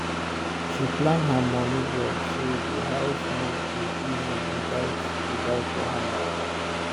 she plan her money well so the house move go easy without without wahala